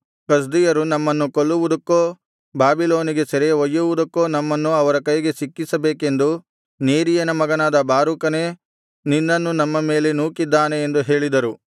ಕಸ್ದೀಯರು ನಮ್ಮನ್ನು ಕೊಲ್ಲುವುದಕ್ಕೋ ಬಾಬಿಲೋನಿಗೆ ಸೆರೆ ಒಯ್ಯುವುದಕ್ಕೋ ನಮ್ಮನ್ನು ಅವರ ಕೈಗೆ ಸಿಕ್ಕಿಸಬೇಕೆಂದು ನೇರೀಯನ ಮಗನಾದ ಬಾರೂಕನೇ ನಿನ್ನನ್ನು ನಮ್ಮ ಮೇಲೆ ನೂಕಿದ್ದಾನೆ ಎಂದು ಹೇಳಿದರು